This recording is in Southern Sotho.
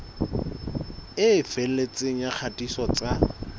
e felletseng ya kgatiso tsa